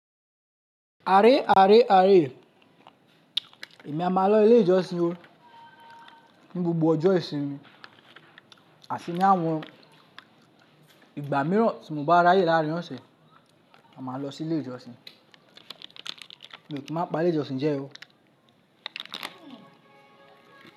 Are are, are. Èmi a máa lọ ilé ìjọsìn o ní gbogbo ọjọ́ ìsinmi àti ní àwọn ìgbà mìíràn tí mo bá ráyè lárín ọ̀sẹ̀. A máa lọ sí ilé ìjọsìn. Mi ò kì í má pa lé ìjọsìn jẹ o.